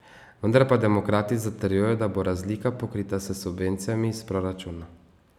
Vendar pa demokrati zatrjujejo, da bo razlika pokrita s subvencijami iz proračuna.